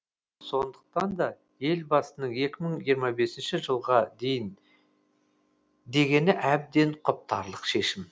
сондықтан да елбасының екі мың жиырма бесінші жылға дейін дегені әбден құптарлық шешім